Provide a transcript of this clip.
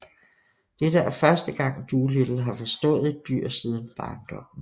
Dette er første gang Dolittle har forstået et dyr siden barndommen